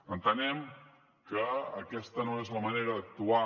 entenem que aquesta no és la manera d’actuar